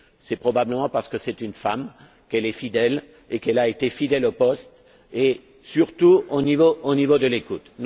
C'est probablement parce que c'est une femme, qu'elle est fidèle et qu'elle a été fidèle au poste et, surtout, au niveau de l'écoute.